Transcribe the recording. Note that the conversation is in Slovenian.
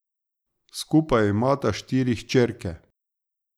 Skupaj imata štiri hčerke.